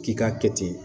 K'i k'a kɛ ten